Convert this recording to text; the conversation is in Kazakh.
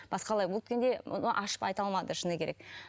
басқалай өткенде оны ашып айта алмады шыны керек